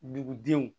Dugudenw